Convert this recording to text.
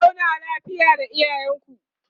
ku zauna lafiya da iyalanku